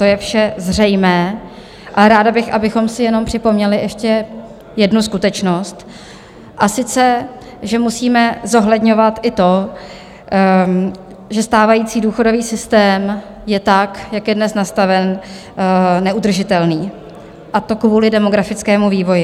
To je vše zřejmé a ráda bych, abychom si jenom připomněli ještě jednu skutečnost, a sice že musíme zohledňovat i to, že stávající důchodový systém je tak, jak je dnes nastaven, neudržitelný, a to kvůli demografickému vývoji.